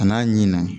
A n'a ɲinna